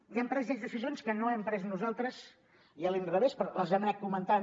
i han pres ells decisions que no hem pres nosaltres i a l’inrevés però les hem anat comentant